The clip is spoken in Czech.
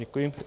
Děkuji.